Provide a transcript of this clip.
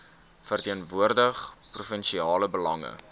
verteenwoordig provinsiale belange